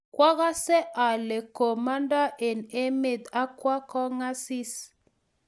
Kwagase ale komandoi eng emet ak kwo kongasis